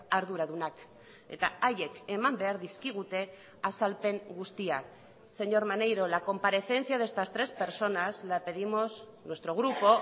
arduradunak eta haiek eman behar dizkigute azalpen guztiak señor maneiro la comparecencia de estas tres personas la pedimos nuestro grupo